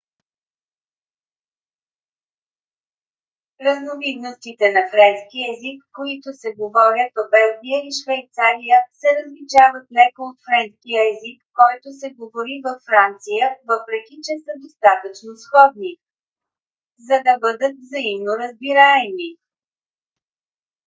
разновидностите на френски език които се говорят в белгия и швейцария се различават леко от френския език който се говори във франция въпреки че са достатъчно сходни за да бъдат взаимно разбираеми